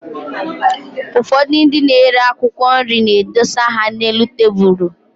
Ụfọdụ ndị na-ere akwụkwọ nri na-edosa ha n'elu tabụlụ.